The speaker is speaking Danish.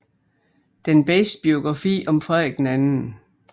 Den bedste biografi om Frederik 2